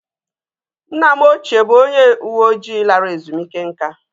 Nna m ochie bụ onye uwe ojii lara ezumike nká